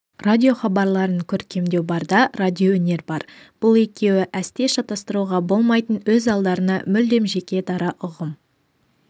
радиохабарларын көркемдеу бар да радиоөнер бар бұл екеуі әсте шатастыруға болмайтын өз алдарына мүлдем жеке-дара ұғым